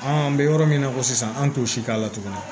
An bɛ yɔrɔ min na ko sisan an t'o si k'a la tuguni